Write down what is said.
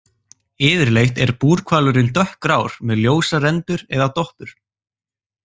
Yfirleitt er búrhvalurinn dökkgrár, með ljósar rendur eða doppur.